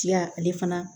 Tiya ale fana